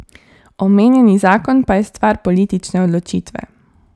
Omenjeni zakon pa je stvar politične odločitve.